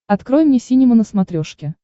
открой мне синема на смотрешке